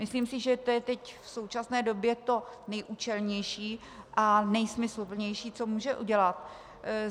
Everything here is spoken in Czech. Myslím si, že to je teď v současné době to nejúčelnější a nejsmysluplnější, co může udělat.